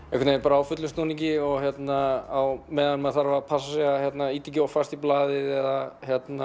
á fullum snúningi á meðan maður þarf að passa sig að ýta ekki of fast í blaðið eða